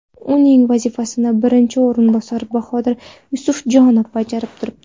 Uning vazifasini birinchi o‘rinbosar Bahodir Yusufjonov bajarib turibdi.